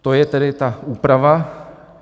To je tedy ta úprava.